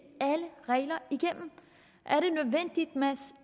alle regler igennem